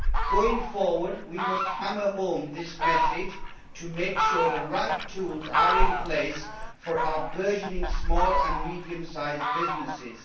Going forward, we must hammer home this message to make sure the right tools are in place for our burgeoning small and medium-sized businesses.